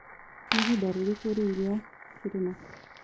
nĩĩhĩnda rĩrĩkũ riũ rĩa kĩrĩma